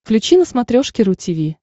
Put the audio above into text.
включи на смотрешке ру ти ви